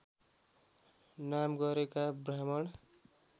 नाम गरेका ब्राह्मण